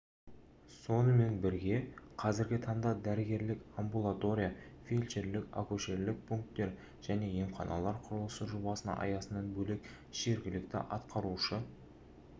сонымен бірге қазіргі таңда дәрігерлік амбулатория фельдшерлік-акушерлік пункттер және емханалар құрылысы жобасының аясынан бөлек жергілікті атқарушы